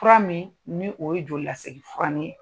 Fura min nin o ye joli lasegin furani ye.